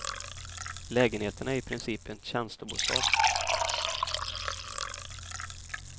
Lägenheten är i princip en tjänstebostad.